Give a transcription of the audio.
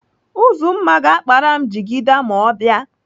Uzumma ga-akpara m jigida ma ọ bịa.